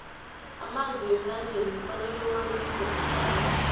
amanzi wemlanjeni kufuze uwabilise maqangi